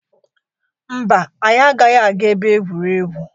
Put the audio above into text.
Mba, anyị agaghị aga ebe egwuregwu.